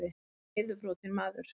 Hann var niðurbrotinn maður.